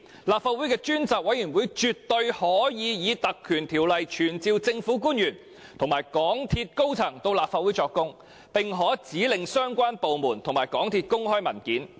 立法會的專責委員會絕對可根據《條例》傳召政府官員和港鐵公司高層到立法會作供，並可指令相關部門和港鐵公司公開文件。